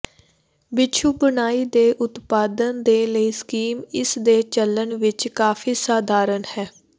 ਬਿਛੂ ਬੁਨਾਈ ਦੇ ਉਤਪਾਦਨ ਦੇ ਲਈ ਸਕੀਮ ਇਸ ਦੇ ਚੱਲਣ ਵਿਚ ਕਾਫ਼ੀ ਸਧਾਰਨ ਹੈ